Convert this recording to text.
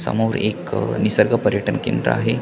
समोर एक निसर्ग पर्यटन केंद्र आहे.